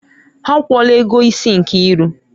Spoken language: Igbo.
Ha akwụla ego isi Nkiru.